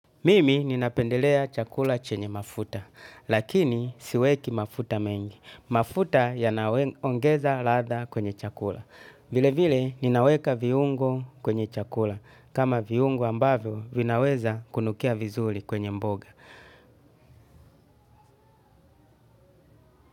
Mimi ninapendelea chakula chenye mafuta, lakini siweki mafuta mengi. Mafuta yanaongeza ladha kwenye chakula. Vile vile, ninaweka viungo kwenye chakula. Kama viungo ambavyo, vinaweza kunukia vizuri kwenye mboga.